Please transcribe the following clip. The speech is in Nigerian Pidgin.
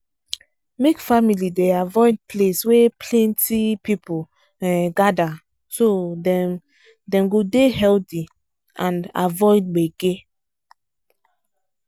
make family dey avoid place wey plenty people um gather so dem dem go dey healthy and avoid gbege.